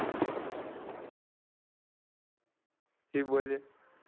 જી બોલીએ.